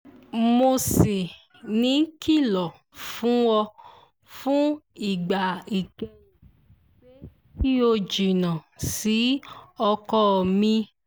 mo ṣì ń kìlọ̀ fún ọ fún ìgbà ìkẹyìn pé kí o jìnnà sí ọkọ mi